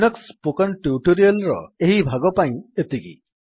Linux spoken tutorial ର ଏହି ଭାଗ ପାଇଁ ଏତିକି